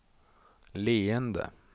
leende